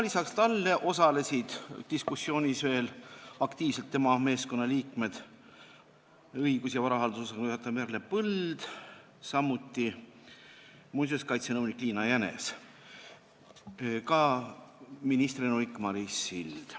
Lisaks talle osalesid diskussioonis aktiivselt tema meeskonna liikmed: õigus- ja varahaldusosakonna juhataja Merle Põld, samuti muinsuskaitsenõunik Liina Jänes ning ka ministri nõunik Maris Sild.